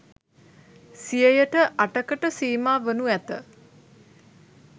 සියයට අටකට සීමා වනු ඇත